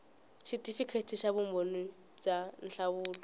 xitifikheti xa vumbhoni bya nhlahluvo